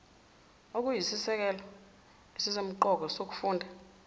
okuyisisekelo esisemqoka sokufunda